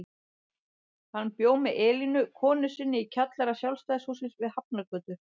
Hann bjó með Elínu konu sinni í kjallara Sjálfstæðishússins við Hafnargötu.